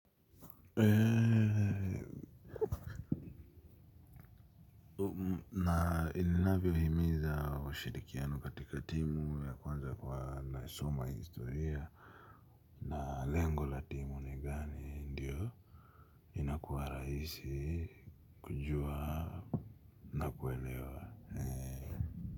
Na inavyohimiza ushirikiano katika timu ya kwanza kwa anayesoma historia. Na lengo la timu ni gani ndiyo? Raihisi kujua na kuelewa.